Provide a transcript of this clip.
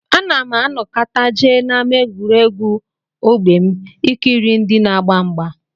Ana m anọkata jee n'ámá egwuregwu ógbè m ikiri ndị na-agba mgba